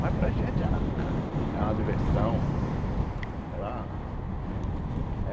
Mas para a gente era era uma diversão. Era